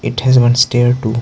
It has one stair too.